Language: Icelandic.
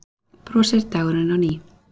Brosir dagurinn á ný.